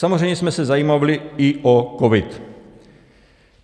Samozřejmě jsme se zajímali i o covid.